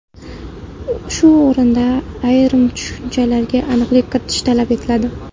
Shu o‘rinda ayrim tushunchalarga aniqlik kiritish talab etiladi.